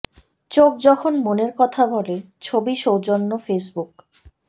চোখ যখন মনের কথা বলে ছবি সৌজন্যে ফেসবুক